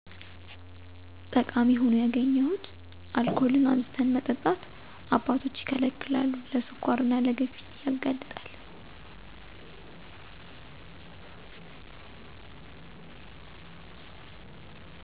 ጠቃሚ ሁኖ ያገኘሁት አልኮልን አብዝተን መጠጣት አባቶች ይከለከላሉ ለ ስኳር እና ለግፊት ያጋልጣል